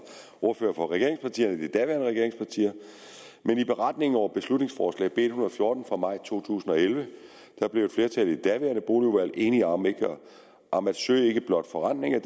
ordfører for regeringspartier men i beretningen over beslutningsforslag nummer b en hundrede og fjorten fra maj to tusind og elleve blev et flertal i det daværende boligudvalg enige om om at søge ikke blot forrentning af